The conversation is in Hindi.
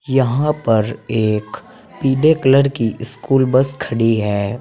यहां पर एक पीदे कलर की स्कूल बस खड़ी है।